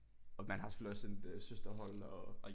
Og man har selvfølgelig også et søsterhold og